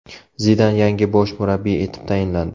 Zidan yangi bosh murabbiy etib tayinlandi.